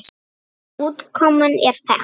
Útkoman er þekkt.